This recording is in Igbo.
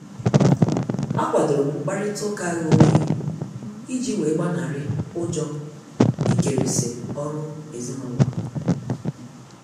A kwadorom mkparita ụka ghe oghe iji wee gbanari ụjọ ikerisi ọrụ ezinụlọ.